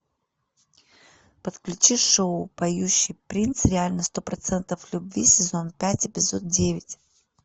подключи шоу поющий принц реально сто процентов любви сезон пять эпизод девять